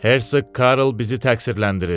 Hersoq Karl bizi təqsirləndirir.